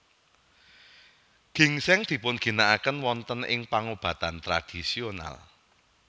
Gingsèng dipunginakaken wonten ing pangobatan tradisional